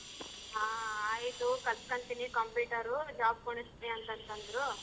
ಹಾ ಆಯ್ತು ಕಲ್ತಕಂತೀನಿ computer job ಕೊಡಸ್ತಿನಿ ಅಂತಂತಂದ್ರು.